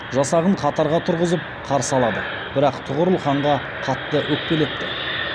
жасағын қатарға тұрғызып қарсы алады бірақ тұғырыл ханға қатты өкпелепті